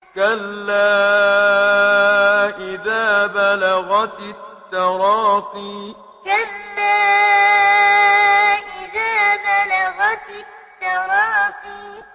كَلَّا إِذَا بَلَغَتِ التَّرَاقِيَ كَلَّا إِذَا بَلَغَتِ التَّرَاقِيَ